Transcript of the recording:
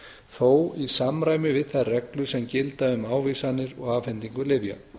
þó í samræmi við þær reglur sem gilda um ávísanir og afhendingu lyfja